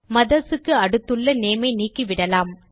mothers க்கு அடுத்துள்ள name ஐ நீக்கிவிடலாம்